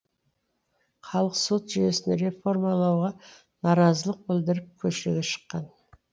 халық сот жүйесін реформалауға наразылық білдіріп көшеге шыққан